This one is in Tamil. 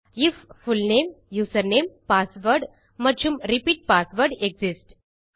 ஐஎஃப் புல்நேம் யூசர்நேம் பாஸ்வேர்ட் மற்றும் ரிப்பீட் பாஸ்வேர்ட் எக்ஸிஸ்ட்